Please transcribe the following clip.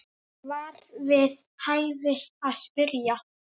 var við hæfi að spyrja.